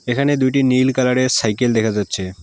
এখানে দুইটি নীল কালারের সাইকেল দেখা যাচ্ছে।